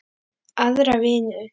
Aðra vinnu?